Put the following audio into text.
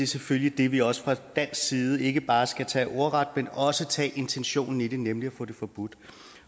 selvfølgelig det vi også fra dansk side ikke bare skal tage ordret men også tage intentionen i det nemlig at få det forbudt